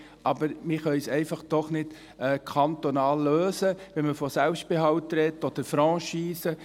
Wir können dies trotzdem nicht kantonal lösen, wenn man von Selbstbehalt oder Franchise spricht.